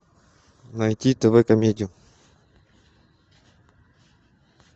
найти тв комедию